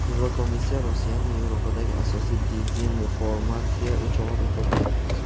Yevrokomissiya Rossiyani Yevropadagi asosiy dezinformatsiya o‘chog‘i deb topdi.